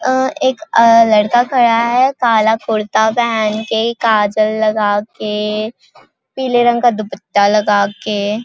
अ एक अ लड़का खड़ा है काला कुर्ता पहन के काजल लगा के पीले रंग का दुपट्टा लगा के--